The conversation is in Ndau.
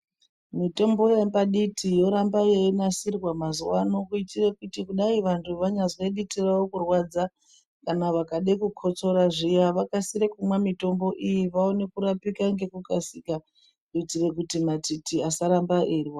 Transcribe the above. Mitombo yepaditi yorambe yeinasirwa mazuwano kuitire kuti kudai vantu vanyazwe diti rawo kurwadza kana vakade kukotsora zviya vakasire kumwa mitombo iyi vaone kurapika ngeku kasika kuitire kuti matiti asaramba eirwadza